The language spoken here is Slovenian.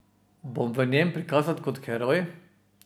Bom v njem prikazan kot heroj?